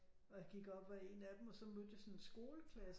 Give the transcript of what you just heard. Og jeg gik op ad en af dem og så mødte jeg sådan en skoleklasse